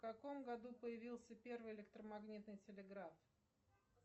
в каком году появился первый электромагнитный телеграф